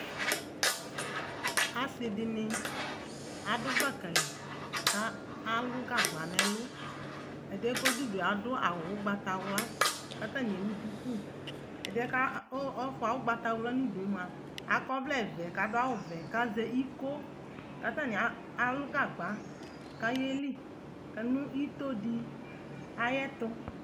Asɩdɩnɩ adʋ gbaka li ka alʋ gagba n'ɛlʋ , ɛdɩɛ k'ɔdʋdue adʋ awʋ ʋgbatawla, katanɩ ewu duku ; ɛdɩɛ ka ɔ ɔfʋa ʋgbatawla n'udue mʋa , akɔvlɛvɛ k'adʋawʋvɛ k'azɛ iko , k'atanɩa alʋ gagba k'ayeli, adʋ itodɩ ayɛtʋ